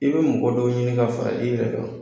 I bɛ mɔgɔ dɔw ɲini ka fara i yɛrɛ kan,